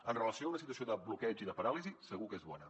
amb relació a una situació de bloqueig i de paràlisi segur que és bona